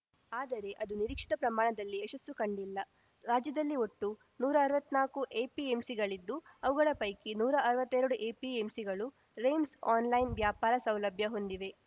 ಆದರೆ ಅದು ನಿರೀಕ್ಷಿತ ಪ್ರಮಾಣದಲ್ಲಿ ಯಶಸ್ಸು ಕಂಡಿಲ್ಲ ರಾಜ್ಯದಲ್ಲಿ ಒಟ್ಟು ನೂರಾ ಅರ್ವತ್ನಾಕು ಎಪಿಎಂಸಿಗಳಿದ್ದು ಅವುಗಳ ಪೈಕಿ ನೂರಾ ಅರ್ವತ್ತೆರಡು ಎಪಿಎಂಸಿಗಳು ರೆಮ್ಸ್‌ ಆನ್‌ಲೈನ್‌ ವ್ಯಾಪಾರ ಸೌಲಭ್ಯ ಹೊಂದಿವೆ